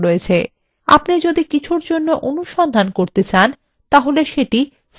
আপনি যদি কিছুর জন্য অনুসন্ধান করতে চান সেটি search for ক্ষেত্রে লিখুন